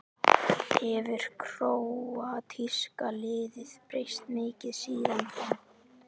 Hefur króatíska liðið breyst mikið síðan þá?